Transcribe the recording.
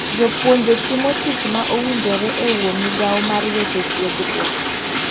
Jopuonje timo tich ma owinjore e uo migao mar weche tiegruok.